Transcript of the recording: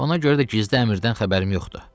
Ona görə də gizli əmirdən xəbərim yoxdur.